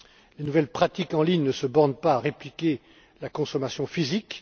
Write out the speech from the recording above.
Les nouvelles pratiques en ligne ne se bornent pas à répliquer la consommation physique.